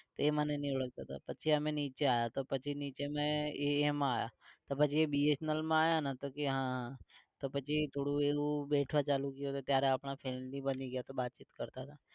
એ મને નહી ઓળખતો તો પછી અમે નીચે આવ્યા તો પછી નીચે મે એ એમાં આવ્યા પછી અમે BSNL માં આવ્યાને તો કે હા તો પછી થોડું એવું બેઠવા ચાલુ થયું તો ત્યારે આપણા friends બી બની ગયા તો બાતચીત કરતાં હતા